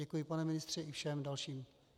Děkuji, pane ministře, i všem dalším.